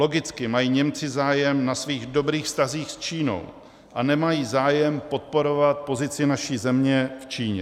Logicky mají Němci zájem na svých dobrých vztazích s Čínou a nemají zájem podporovat pozici naší země v Číně.